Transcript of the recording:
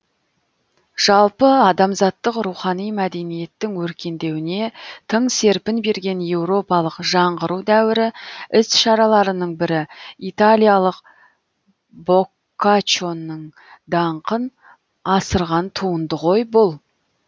жалпы адамзаттық рухани мәдениеттің өркендеуіне тың серпін берген еуропалық жаңғыру дәуірі іс шараларының бірі италиялық боккаччоның даңқын асырған туынды ғой бұл